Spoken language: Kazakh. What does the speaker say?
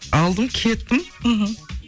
алдым кеттім мхм